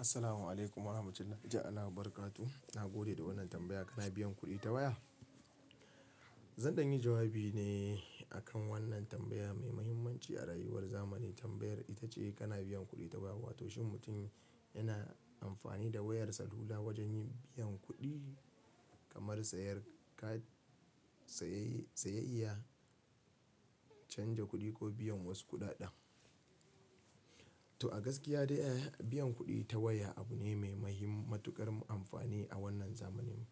Assalamu alaikum warahmatullahi ta'ala wabarakatuh. Na gode da wannan tambaya. Kana biyan kuɗi ta waya? Zan dan yi jawabi ne akan wannan tambaya mai muhimmanci a rayuwar zamani. Tambayar ita ce kana biyan kuɗi ta waya, wato shin mutum yana amfani da wayarsa lula wajen yin biyan kuɗi kamar sayar ka saye, saye iya canja kuɗi ko biyan wasu kuɗaɗen. To a gaskiya dai, biyan kuɗi ta waya abu ne mai mahimmatuƙar amfani a wannan zamaninmu.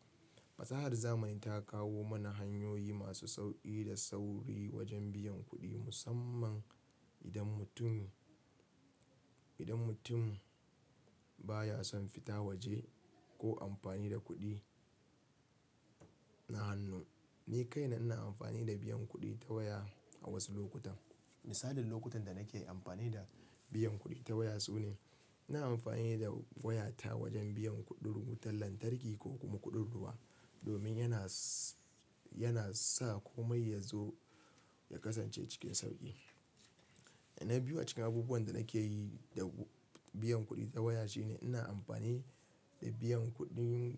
Fasahar zamani ta kawo mana hanyoyi masu sauƙi da sauri wajen biyan kuɗi, musamman idan mutum, idan mutum baya son fita waje ko amfani da kuɗi na hannu. Ni kaina na amfani da biyan kuɗi ta waya a wasu lokutan. Misalin lokutan da nake amfani da biyan kuɗi ta waya su ne, na amfani da wayata wajen biyan kuɗin wutar lantarki ko kuma kuɗin ruwa domin yana, yana sa komai yazo ya kasance cikin sauƙi. Na biyu cikin abubuwan da nake yi da biyan kuɗi ta waya shine ina amfani da biyan kuɗin,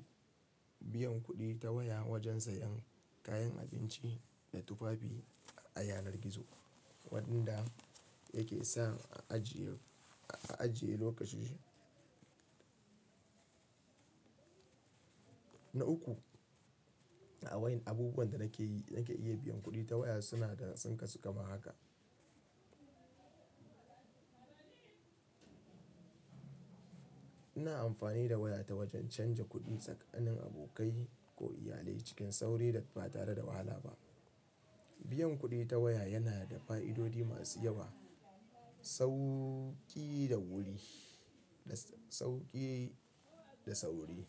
biyan kuɗi ta waya wajen sayen kayan abinci da tufafi a yanar gizo, waɗanda yake sa a ajiye, a ajiye lokaci. Na uku a waɗannan abubuwan da nake yi, nake iya biyan kuɗi ta waya suna da tsinka suka ma haka. Ina amfani da wayata wajen canja kuɗi tsakanin abokai ko iyalai cikin sauri da ba tare da wahala ba. Biyan kuɗi ta waya yana da fa'idodi masu yawa. Sauƙi da wuri, sauƙi da sauri.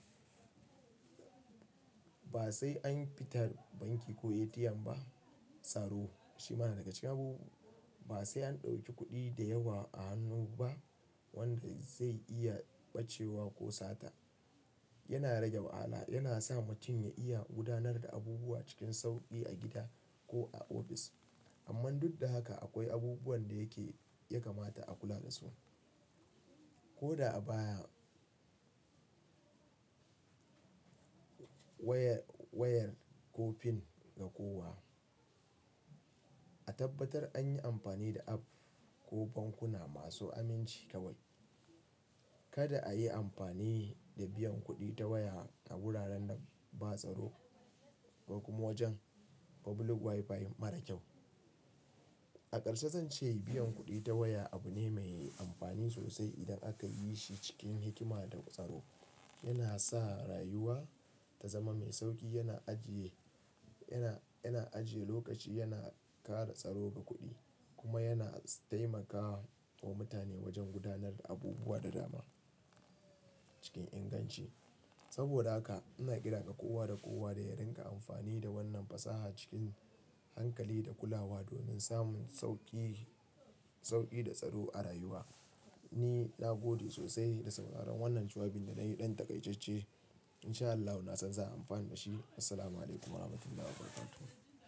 Ba sai an fita banki ko ATM ba. Tsaro. Shi ma na daga cikin abubuwa. Ba sai an ɗauki kuɗi da yawa a hannu ba wanda zai iya ɓacewa ko sata. Yana rage wahala. Yana sa mutum ya iya gudanar da abubuwa cikin sauƙi a gida ko a ofis. Amma duk da haka akwai abubuwan da yake, ya kamata a kula dasu. Ko da a baya wayar, wayar ko fin na kowa. A tabbatar an yi amfani da app ko bankuna masu aminci kawai. Kada a yi amfani da biyan kuɗi ta waya a wuraren da ba tsaro ba kuma wajen public WiFi mara kyau. A karshe zan ce biyan kuɗi ta waya abu ne mai amfani sosai idan aka yi shi cikin hikima da tsaro. Yana sa rayuwa ta zama mai sauƙi, yana ajiye, yana, yana ajiye lokaci, yana ƙara tsaro ga kuɗi kuma yana taimakawa mutane wajen gudanar da abubuwa da dama cikin inganci. Saboda haka ina kira ka kowa da kowa da ya riƙa amfani da wannan fasaha cikin hankali da kulawa domin samun sauƙi, sauƙi da tsaro a rayuwa. Ni na gode sosai da sauraron wannan jawabin da na yi ɗan takaitacce. Insha Allahi na san za a yi amfani da shi. Assalamu alaikum warahmatullahi wabarakatuh.